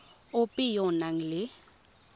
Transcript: ope yo o nang le